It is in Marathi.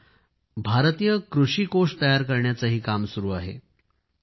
सध्या एक भारतीय कृषी कोष तयार करण्याचे काम सुरू आहे